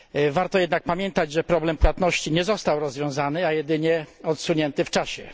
Warto jednak pamiętać, że problem płatności nie został rozwiązany, a jedynie odsunięty w czasie.